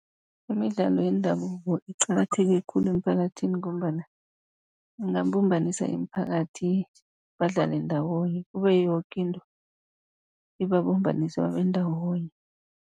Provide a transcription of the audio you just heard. Imidlalo yendabuko iqakatheke khulu emphakathini, ngombana ingabumbanisa imiphakathi badlale ndawonye, kube yoke into ibabumbanisa babe ndawonye.